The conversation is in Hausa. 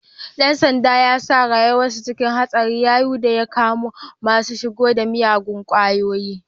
Ɗan sandan ya sa rayuwansa cikin haɗari yayun da ya kama masu shigo da miyagun kwayoyi.